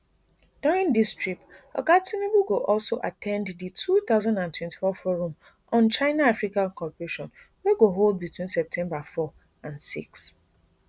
during dis trip oga tinubu go also at ten d di two thousand and twenty-four forum on china africa cooperation wey go hold between september four and six